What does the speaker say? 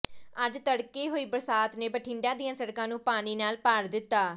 ਅੱਜ ਤੜਕੇ ਹੋਈ ਬਰਸਾਤ ਨੇ ਬਠਿੰਡਾ ਦੀਆ ਸੜਕਾਂ ਨੂੰ ਪਾਣੀ ਨਾਲ ਭਰ ਦਿੱਤਾ